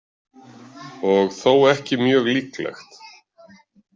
Og þó ekki mjög líklegt.